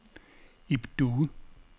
Ib Due